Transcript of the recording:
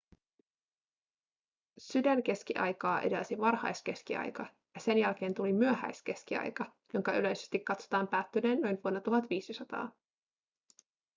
sydänkeskiaikaa edelsi varhaiskeskiaika ja sen jälkeen tuli myöhäiskeskiaika jonka yleisesti katsotaan päättyneen noin vuonna 1500